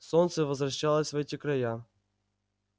солнце возвращалось в эти края